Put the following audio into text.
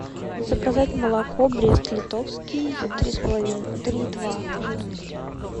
заказать молоко брест литовский три с половиной три и два жирности